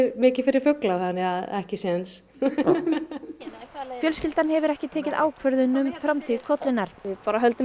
mikið fyrir fugla þannig að ekki séns fjölskyldan hefur ekki tekið ákvörðun um framtíð kollunnar við bara höldum